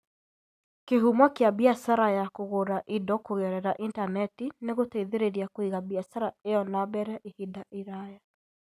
Kĩhumo kĩa biacara ya kũgũra indo kũgerera Intaneti nĩ gũteithĩrĩria kũiga biacara ĩyo na mbere ihinda iraya